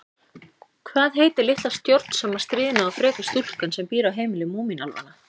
Hvað heitir litla stjórnsama, stríðna og freka stúlkan sem býr á heimili Múmínálfanna?